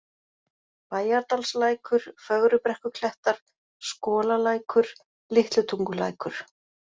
Bæjardalslækur, Fögrubrekkuklettar, Skolalækur, Litlutungulækur